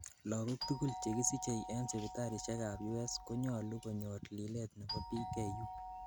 lagok tugul chekisichei en sipitalishek ab U.S konyalu konyor lilet nebo PKU